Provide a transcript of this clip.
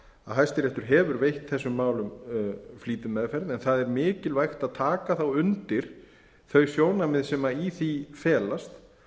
hæstiréttur hefur veitt þessum málum flýtimeðferð en það er mikilvægt að taka þá undir þau sjónarmið sem í því felast